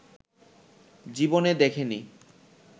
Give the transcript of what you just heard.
জীবনে দেখেনি